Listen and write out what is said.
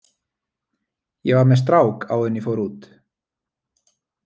Ég var með strák áður en ég fór út.